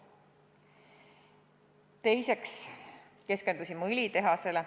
Teiseks keskendusime õlitehasele.